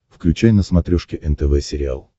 включай на смотрешке нтв сериал